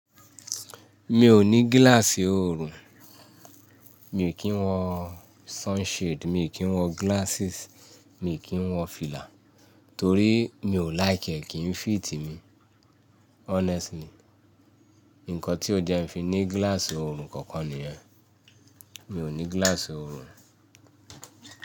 Mi ò ní gíláàsì oorun, mi o kì n wọ sunshade, mi kì í wọ glasses, mi kì í wọ fìlà torí mi ò like e kì í fit mi honestly. Nǹkan tí ó jẹ́ ń fi ní gíláàsì oorun kankan nìyẹn. Mi ò ní gíláàsì oorun.